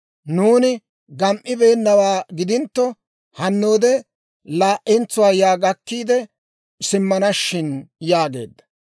Nuuni gam"ibeenawaa gidintto, hannoode laa'entsuwaa yaa gakkiide simmana shin» yaageedda.